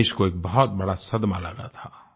देश को एक बहुत बड़ा सदमा लगा था